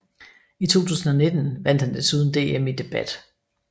I 2019 vandt han desuden DM i debat